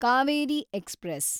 Kaveri express